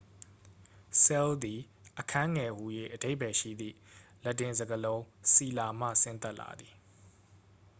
ဆဲလ် သည် အခန်းငယ်ဟူ၍ အဓိပ္ပာယ်ရှိသည့် လက်တင်စကားလုံး ဆီလာ မှ ဆင်းသက်လာသည်